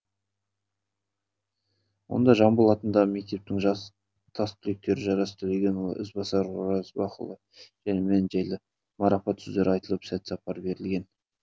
онда жамбыл атындағы мектептің тастүлектері жарас төлегенұлы ізбасар оразбақұлы және мен жайлы марапат сөздер айтылып сәт сапар берілген